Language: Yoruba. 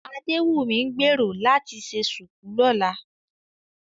Adéwùnmí ń gbèrò láti ṣe ṣùkú lọ́la